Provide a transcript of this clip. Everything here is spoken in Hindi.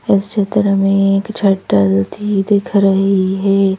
इस चित्र में एक शटल भी दिख रही है।